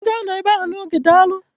M ga-anọ ebe ahụ n'oge, daalụ